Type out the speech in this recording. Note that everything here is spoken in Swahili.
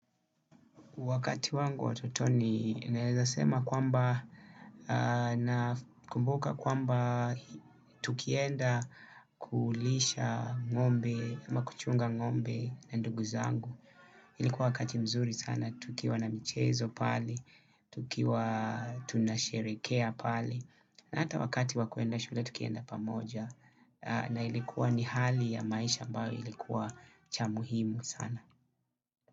Wakati wangu wa utotoni naeza sema kwamba, nakumbuka kwamba tukienda kulisha ngombe, ama kuchunga ngombe na ndugu zangu. Ilikuwa wakati mzuri sana, tukiwa na mchezo pale, tukiwa tunasherekea pale, na hata wakati wa kuenda shule tukienda pamoja, na ilikuwa ni hali ya maisha ambayo ilikuwa cha muhimu sana.